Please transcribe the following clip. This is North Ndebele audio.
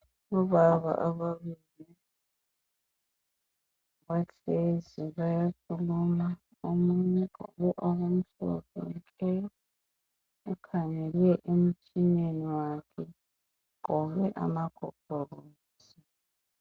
obaba ababili bahlezi bayakhuluma omunye ugqoke okumhlophe ukhangele emtshineneni wakhe ugqoke amagogorosi